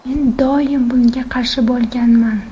Men doim bunga qarshi bo‘lganman.